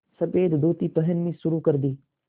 सफ़ेद धोती पहननी शुरू कर दी